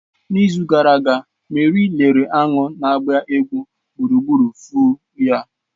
n'izu gara aga Meri lere aṅụ na-agba egwu gburugburu foo ha